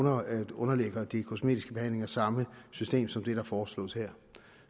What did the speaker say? underlægger de kosmetiske behandlinger samme system som det der foreslås her